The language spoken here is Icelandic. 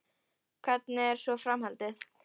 Hvernig er svo framhaldið?